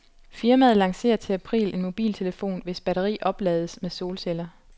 Firmaet lancerer til april en mobiltelefon, hvis batteri oplades med solceller.